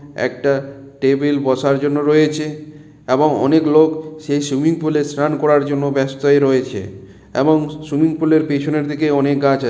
একটা টেবিল বসার জন্য রয়েছে এবং অনেক লোক সেই সুইমিং পুল এ স্নান করার জন্য ব্যস্তই রয়েছে এবং সুইমিং পুল এর পেছনের দিকে অনেক গাছ আ--